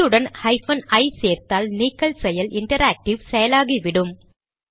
இதனுடன் ஹைபன் ஐ சேர்த்தால் நீக்கல் செயல் இன்டராக்டிவ் செயலாகிவிடும்